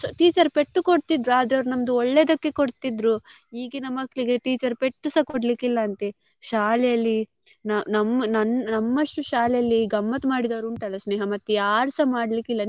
Teacher ಪೆಟ್ಟು ಕೊಡ್ತಿದ್ರು ಆದ್ರೆ ಅವರು ನಮ್ದು ಒಳ್ಳೇದಕ್ಕೆ ಕೊಡ್ತಿದ್ರು ಈಗಿನ ಮಕ್ಕಳಿಗೆ teacher ಪೆಟ್ಟುಸ ಕೊಡ್ಲಿಕ್ಕೆ ಇಲ್ಲ ಅಂತೆ ಶಾಲೆಯಲ್ಲಿ ನಮ್~ ನನ್~ ನಮ್ಮಷ್ಟು ಶಾಲೆಯಲ್ಲಿ ಗಮ್ಮತ್ ಮಾಡಿದವ್ರು ಉಂಟಾಲ್ಲ ಸ್ನೇಹ ಮತ್ತೆ ಯಾರ್ಸ ಮಾಡ್ಲಿಕ್ಕೆ ಇಲ್ಲ.